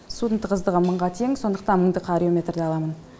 судың тығыздығы мыңға тең сондықтан мыңдық арюметрді аламын